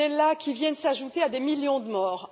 Pittella, viennent s'ajouter à des millions de morts.